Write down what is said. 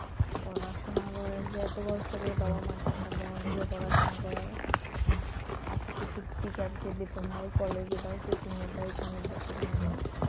পড়াশোনা করে যে এত কষ্ট করে বাবা মা টাকা দেওয়াটা যে পড়াশোনা করায়া আজকে কিছু teacher বেতন দাও কলেজে দাও কোচিং এ দাও এখানে দাও সেখানে দাও,